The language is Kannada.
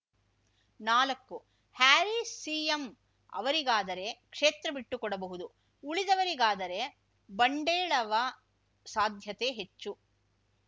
ನಾಲಕ್ಕು ಹ್ಯಾರೀಸ್‌ ಸಿಎಂ ಅವರಿಗಾದರೆ ಕ್ಷೇತ್ರ ಬಿಟ್ಟುಕೊಡಬಹುದು ಉಳಿದವರಿಗಾದರೆ ಬಂಡೇಳವ ಸಾಧ್ಯತೆ ಹೆಚ್ಚು